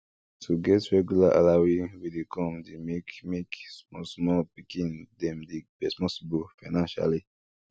to get regular allowee wey dey come dey make make small small pikin dem dey responsible financially